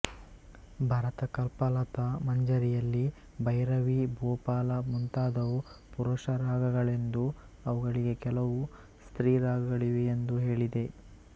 ಭರತಕಲ್ಪಲತಾ ಮಂಜರಿಯಲ್ಲಿ ಭೈರವಿ ಭೂಪಾಲ ಮುಂತಾದವು ಪುರುಷ ರಾಗಗಳೆಂದೂ ಅವುಗಳಿಗೆ ಕೆಲವು ಸ್ತ್ರೀರಾಗಗಳಿವೆಯಂದೂ ಹೇಳಿದೆ